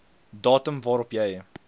datum waarop jy